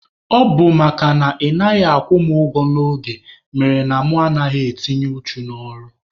Ọ bụ makana ị naghị akwụ mụ ụgwọ n'oge mere na mụ anaghị adị uchu n'ọrụ.